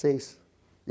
Seis.